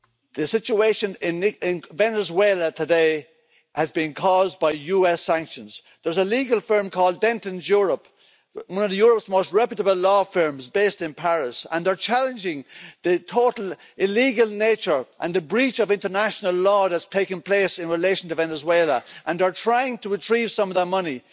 The situation in Venezuela today has been caused by US sanctions. There's a legal firm called Dentons Europe, one of Europe's most reputable law firms based in Paris, and they are challenging the total illegal nature and the breach of international law that has taken place in relation to Venezuela, and are trying to retrieve some of that money.